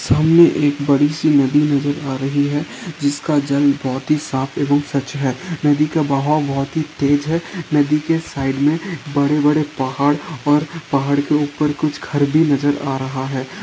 सामने एक बड़ी सी नदी नजर आ रही है जिसका जल बहोत ही साफ एवं स्वच्छ है नदी का बहाव बहोत ही तेज है नदी के साइड में बड़े बड़े पहाड़ और पहाड़ के ऊपर कुछ घर भी नजर आ रहा है।